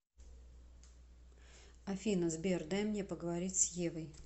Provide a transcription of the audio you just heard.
афина сбер дай мне поговорить с евой